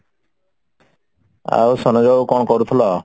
ଆଉ ସରୋଜ ବାବୁ କଣ କରୁଥିଲ?